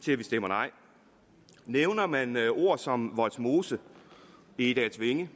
til at vi stemmer nej nævner man ord som vollsmose og egedalsvænge